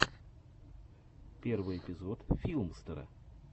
первый эпизод филмстера